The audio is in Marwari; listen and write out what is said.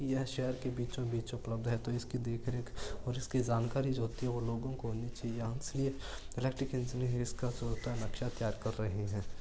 यह शहर के बीचो बीच उपलब्ध है तो इसकी देखरेख और इसकी जानकारी जो होती है वो लोगो को होनी चाहिए नक्शा तैयार कर रहे है।